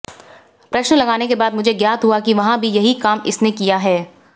प्रश्न लगाने के बाद मुझे ज्ञात हुआ कि वहां भी यही काम इसने किया हैं